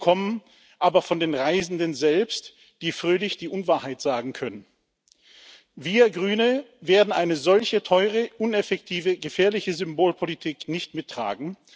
Diese kommen aber von den Reisenden selbst, die fröhlich die Unwahrheit sagen können. Wir Grüne werden solch eine teure, uneffektive, gefährliche Symbolpolitik nicht mittragen.